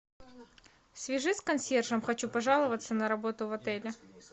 свяжись с консьержем хочу пожаловаться на работу в отеле